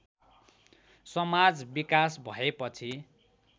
समाज विकास भएपछि